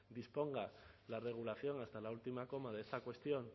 disponga la regulación hasta la última coma de esta cuestión